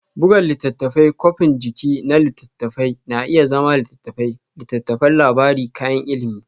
Buga Littattafai Kwafin jiki na littattafai na iya zama litattafai, littattafan labari da kayan ilimi.